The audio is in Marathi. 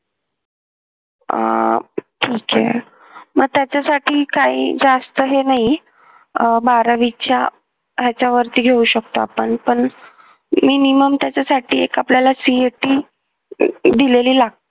अह ठीक आहे मग त्याच्यासाठी काही जास्त हे नाही अह बारावीच्या ह्याच्यावरती घेऊ शकतो आपण पण minimum त्याच्यासाठी एक आपल्याला CET दिलेली ला